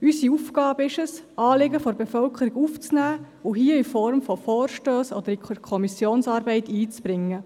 Es ist unsere Aufgabe, Anliegen aus der Bevölkerung aufzunehmen und hier in Form von Vorstössen einzubringen oder in die Kommissionsarbeit einfliessen zu lassen.